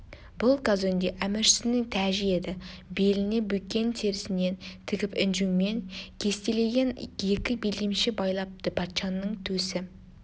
бұл казонде әміршісінің тәжі еді беліне бөкен терісінен тігіп інжумен кестелеген екі белдемше байлапты патшаның төсі